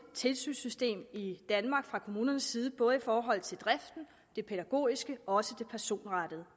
tilsynssystem i danmark fra kommunernes side både i forhold til driften det pædagogiske og det personrettede